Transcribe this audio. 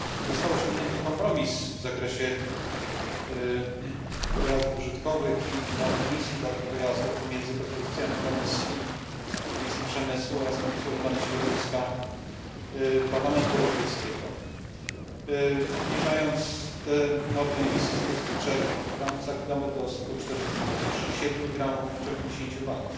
Został osiągnięty kompromis w zakresie pojazdów użytkowych i norm emisji dla tych pojazdów pomiędzy propozycjami Komisji, Komisji Przemysłu oraz Komisji Ochrony Środowiska Parlamentu Europejskiego, który obniża tę normę emisji z 203 gramów za kilometr do 147 gramów w ciągu 10 lat.